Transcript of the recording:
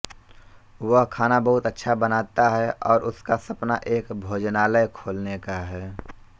वह खाना बहुत अच्छा बनाता है और उसका सपना एक भोजनालय खोलने का है